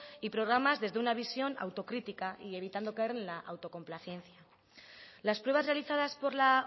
y programas desde una visión autocrítica y evitando caer en la autocomplacencia las pruebas realizadas por la